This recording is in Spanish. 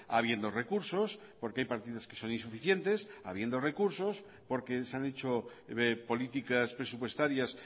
habiendo recursos porque hay partidos que son insuficientes habiendo recursos porque se han hecho políticas presupuestarias